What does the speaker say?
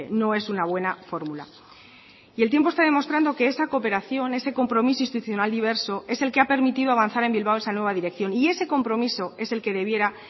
no es una buena fórmula y el tiempo está demostrando que esa cooperación ese compromiso institucional diverso es el que ha permitido avanzar en bilbao esa nueva dirección y ese compromiso es el que debiera